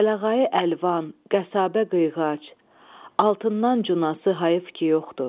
Kələğayı əlvan, qəsabə qıyğac, altından cunası hayıf ki yoxdur.